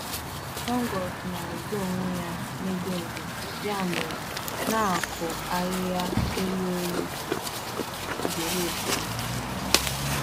Nje ọrịa fọnguus na-ezotu ebe ndo dị, n'ihi nke a, na-asụtulata ahịhịa kwa mgbe.